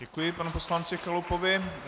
Děkuji panu poslanci Chalupovi.